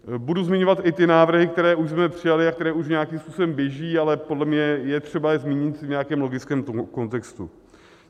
Budu zmiňovat i ty návrhy, které už jsme přijali a které už nějakým způsobem běží, ale podle mě je třeba je zmínit v nějakém logickém kontextu.